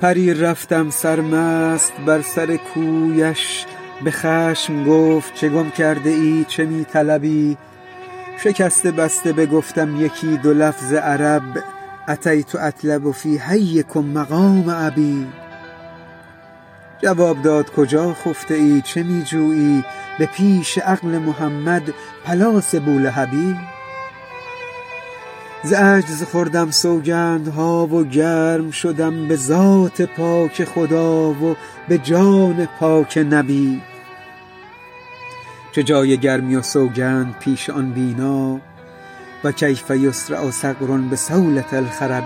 پریر رفتم سرمست بر سر کویش به خشم گفت چه گم کرده ای چه می طلبی شکسته بسته بگفتم یکی دو لفظ عرب أتیت أطلب في حیکم مقام أبي جواب داد کجا خفته ای چه می جویی به پیش عقل محمد پلاس بولهبی ز عجز خوردم سوگندها و گرم شدم به ذات پاک خدا و به جان پاک نبی چه جای گرمی و سوگند پیش آن بینا و کیف یصرع صقر بصولة الخرب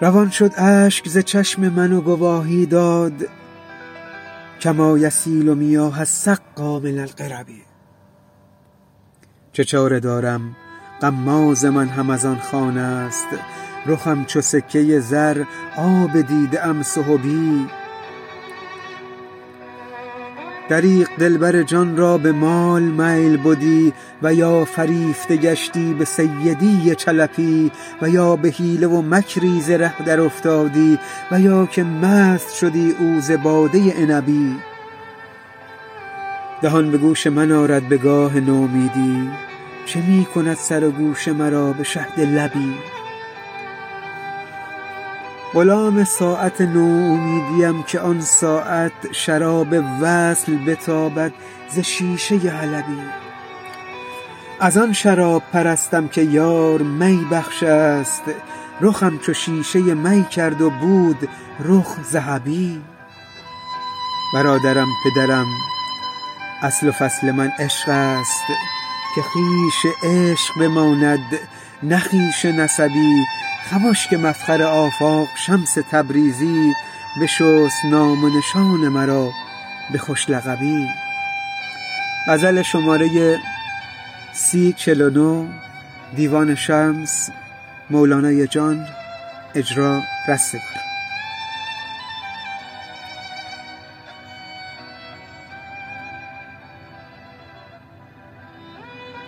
روان شد اشک ز چشم من و گواهی داد کما یسیل میاه السقا من القرب چه چاره دارم غماز من هم از خانه ست رخم چو سکه زر آب دیده ام سحبی دریغ دلبر جان را به مال میل بدی و یا فریفته گشتی به سیدی چلبی و یا به حیله و مکری ز ره درافتادی و یا که مست شدی او ز باده عنبی دهان به گوش من آرد به گاه نومیدی چه می کند سر و گوش مرا به شهد لبی غلام ساعت نومیدیم که آن ساعت شراب وصل بتابد ز شیشه ای حلبی از آن شراب پرستم که یار می بخشست رخم چو شیشه می کرد و بود رخ ذهبی برادرم پدرم اصل و فصل من عشقست که خویش عشق بماند نه خویشی نسبی خمش که مفخر آفاق شمس تبریزی بشست نام و نشان مرا به خوش لقبی